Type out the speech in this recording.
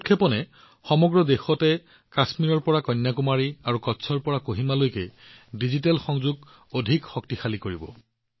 এই শুভাৰম্ভৰ লগে লগে কাশ্মীৰৰ পৰা কন্যাকুমাৰী লৈকে আৰু সমগ্ৰ দেশৰ কচ্ছৰ পৰা কোহিমালৈকে ডিজিটেল সংযোগ অধিক শক্তিশালী হব